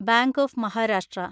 bank of Maharashtra